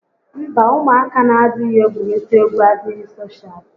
Mba, ụmụaka n'adịghị egwurita égwú adịghị soshaal